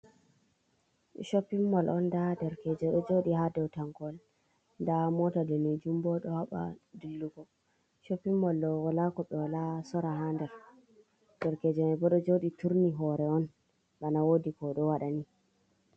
Shoppin mol on nda derkejo ɗo jodi ha dau tangol nda mota danejum bo ɗo haɓa dillugo, shoppin mol ɗo wala ko ɓe wala sorra ha nder derkeje man bo ɗo joɗi turni hore on bana wodi ko oɗo wadani.